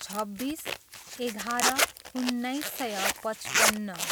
छब्बिस, एघार, उन्नाइस सय पचपन्न